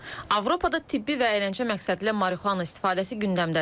Avropada tibbi və əyləncə məqsədilə marihuana istifadəsi gündəmdədir.